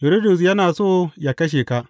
Hiridus yana so ya kashe ka.